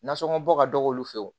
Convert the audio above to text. Nasɔngɔ bɔ ka dɔgɔ olu fɛ yen